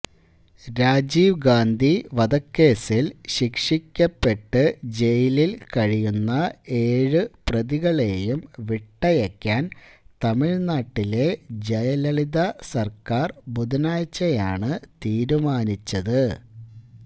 രാജീവ് ഗാന്ധി വധക്കേസില് ശിക്ഷിക്കപ്പെട്ടു ജയിലില് കഴിയുന്ന ഏഴു പ്രതികളെയും വിട്ടയയ്ക്കാന് തമിഴ്നാട്ടിലെ ജയലളിത സര്ക്കാര് ബുധനാഴ്ചയാണ് തീരുമാനിച്ചത്